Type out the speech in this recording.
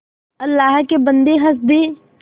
अल्लाह के बन्दे हंस दे